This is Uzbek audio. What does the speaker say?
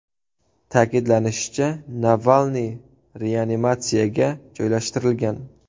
Ta’kidlanishicha, Navalniy reanimatsiyaga joylashtirilgan.